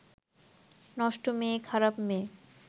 নষ্ট মেয়ে, খারাপ মেয়ে